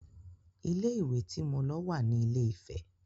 Ilé ìwé tí mo lọ wà ní ilé - ìfẹ.